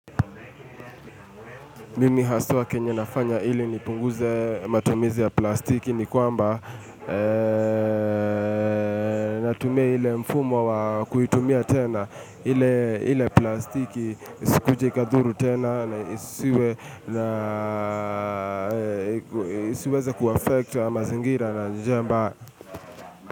Mimi haswa kenye nafanya ili nipunguze matumizi ya plastiki ni kwamba Natumia ile mfumo wa kuitumia tena ile ile plastiki Isikuje ikadhuru tena na isiweze kuaffect mazingira na njia ambayo.